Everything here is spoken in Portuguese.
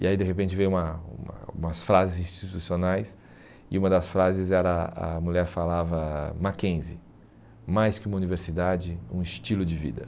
E aí de repente veio uma uma umas frases institucionais e uma das frases era, a mulher falava, Mackenzie, mais que uma universidade, um estilo de vida.